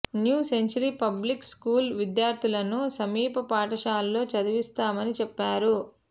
new century public school విద్యార్థులను సమీప పాఠశాలలో చదివిస్తామని చెప్పారు